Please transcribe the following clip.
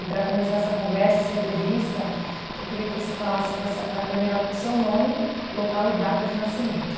E para começar essa conversa, essa entrevista, eu queria que você falasse para essa para a câmera o seu nome, local e data de nascimento.